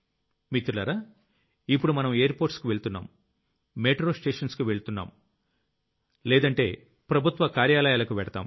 మిత్రులారా ఇప్పుడు మనం ఎయిర్పోర్ట్స్ వెళ్తున్నాం మెట్రో స్టేషన్స్ కి వెళ్తున్నాం లేదంటే ప్రభుత్వ కార్యాలయాలకు వెళ్తాం